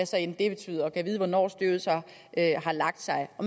så end betyder og jeg gad vide hvornår støvet så har lagt sig og